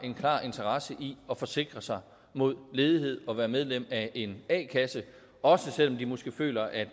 en klar interesse i at forsikre sig mod ledighed og være medlem af en a kasse også selv om de måske føler at